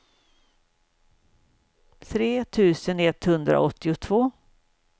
tre tusen etthundraåttiotvå